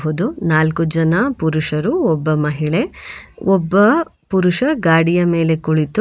ನಾಲ್ಕು ಜನ ಪುರುಷರು ಒಬ್ಬ ಮಹಿಳೆ ಒಬ್ಬ ಪುರುಷ ಗಾಡಿಯ ಮೇಲೆ ಕುಳಿತು --